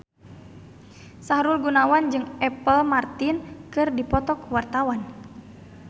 Sahrul Gunawan jeung Apple Martin keur dipoto ku wartawan